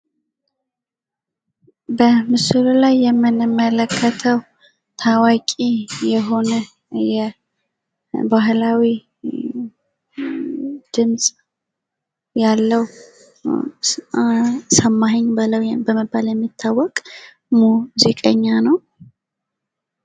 በምስሉ ላይ የምንመለከተው ታዋቂ የሆነ የባህላዊ ድምፅ ያለው ሰማኸኝ በለው በመባል የሚታወቅ ሙዚቀኛ ነው።